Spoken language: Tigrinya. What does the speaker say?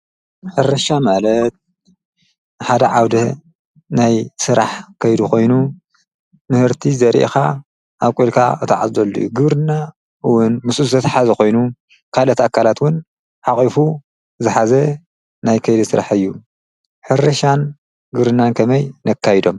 ሕርሻ ማለት ሓደ ዓውደ ናይ ስራሕ ከይዲ ኾይኑ ምህርቲ ዘሪእኻ ኣብ ኣብቑልካ እታዓፅደሉ ግብርና ውን ምስኡ ዘትሓዝ ኾይኑ ካልኦት ኣካላት ዉን ሓቝፉ ዝሓዘ ናይ ከይዲ ስራሕ እዩ፡፡ ሕርሻን ግርብናን ከመይ ነካይዶም?